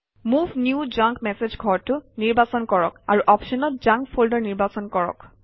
move new junk message ঘৰটো নিৰ্বাচন কৰক আৰু অপশ্যনত জাংক ফল্ডাৰ নিৰ্বাচন কৰক